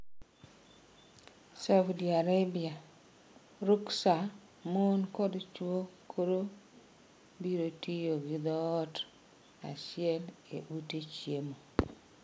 Saudi Arabia: Ruksa mon kod chwo koro biro tiyo gi dhoot achiel e ute chiemo